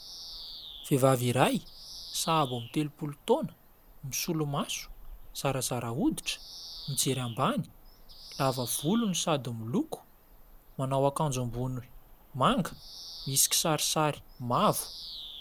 Vehivavy iray sabo amin'ny telompolo taona misolo-maso. Zarazara oditra, mijery ambany. Lava volony sady moloko. Manao akanjo ambony manga misy kisarisary mavo.